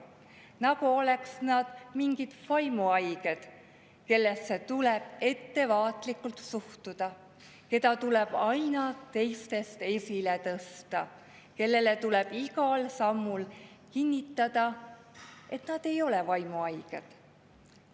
Nagu oleks nad mingid vaimuhaiged, kellesse tuleb ettevaatlikult suhtuda, keda tuleb aina teiste seast esile tõsta, kellele tuleb igal sammul kinnitada, et nad ei ole vaimuhaiged.